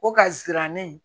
O ka jira ne ye